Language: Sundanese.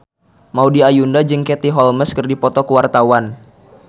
Maudy Ayunda jeung Katie Holmes keur dipoto ku wartawan